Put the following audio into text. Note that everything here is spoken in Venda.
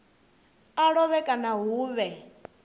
a lovhe kana hu vhe